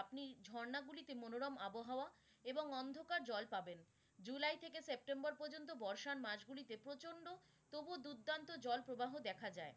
আপনি ঝর্ণা গুলিতে মনোরম আবহাওয়া এবং অন্ধকার জল পাবেন। july থেকে september পর্যন্ত বর্ষার মাঝ গুলিতে প্রচন্ড, তবুও দুর্দান্ত জল প্রবাহ দেখা যায়।